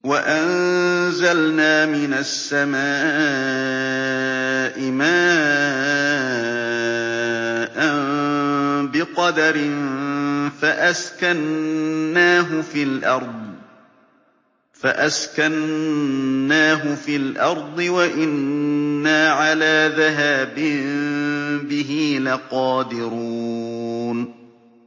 وَأَنزَلْنَا مِنَ السَّمَاءِ مَاءً بِقَدَرٍ فَأَسْكَنَّاهُ فِي الْأَرْضِ ۖ وَإِنَّا عَلَىٰ ذَهَابٍ بِهِ لَقَادِرُونَ